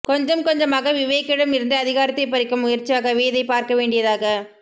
கொஞ்சம் கொஞ்சமாக விவேக்கிடம் இருந்து அதிகாரத்தைப் பறிக்கும் முயற்சியாகவே இதைப் பார்க்க வேண்டியதாக